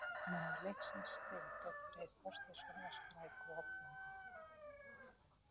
Maður leiksins: Steinþór Freyr Þorsteinsson, var sprækur og ógnandi.